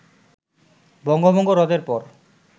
বঙ্গভঙ্গ রদের পর